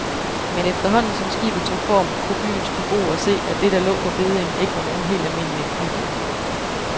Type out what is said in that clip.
Men efterhånden som skibet tog form, kunne byens beboere se, at det der lå på beddingen ikke var nogen helt almindelig nybygning.